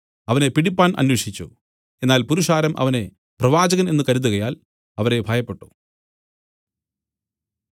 അവനെ പിടിപ്പാൻ അന്വേഷിച്ചു എന്നാൽ പുരുഷാരം അവനെ പ്രവാചകൻ എന്നു കരുതുകയാൽ അവരെ ഭയപ്പെട്ടു